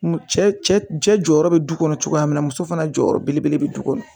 Cɛ cɛ jɔyɔrɔ be du kɔnɔ cogoya min na muso fana jɔyɔrɔ belebele be du kɔnɔ